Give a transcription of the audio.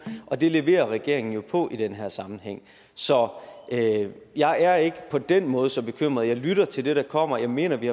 og det leverer regeringen jo på i den her sammenhæng så jeg er ikke på den måde så bekymret jeg lytter til det der kommer og jeg mener at vi